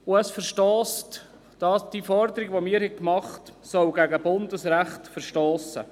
Unsere Forderung soll demgemäss gegen Bundesrecht verstossen.